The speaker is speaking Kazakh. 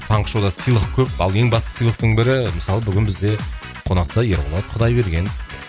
таңғы шоуда сыйлық көп ал ең басты сыйлықтың бірі мысалы бүгін бізде қонақта ерболат құдайбергенов